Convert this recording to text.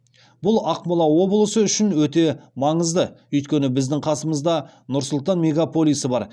бұл ақмола облысы үшін өте маңызды өйткені біздің қасымызда нұр сұлтан мегаполисі бар